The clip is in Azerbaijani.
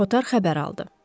Kotar xəbər aldı.